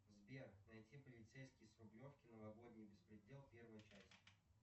сбер найти полицейский с рублевки новогодний беспредел первая часть